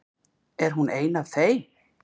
Er hún ein af þeim?